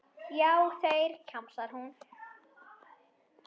Já, þeir, kjamsar hún.